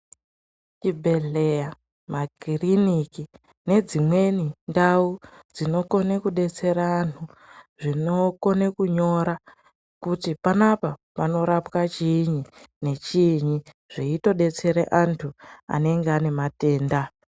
Zvibhedhlera, makiriniki nedzimweni ndau dzinokone kudetsera antu dzinokone kunyora kuti panapa panorapwa chiini nechiini zveitodetsere antu anenge aine matenda.